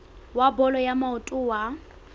wa bolo ya maoto wa